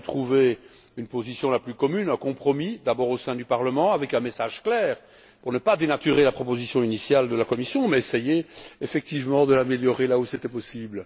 Il a fallu trouver une position la plus commune possible, un compromis, d'abord au sein du Parlement, avec un message clair pour ne pas dénaturer la proposition initiale de la Commission mais essayer effectivement de l'améliorer, là où c'était possible.